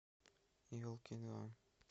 елки два